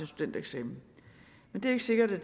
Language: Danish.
studentereksamen men det er ikke sikkert at